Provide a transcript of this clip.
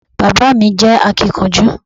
Bàbá mi jẹ́ akínkanjú